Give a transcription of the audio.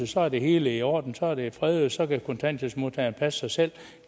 så er det hele i orden så er det fredet og så kan kontanthjælpsmodtagerne passe sig selv